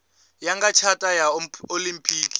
ya nga tshata ya olimpiki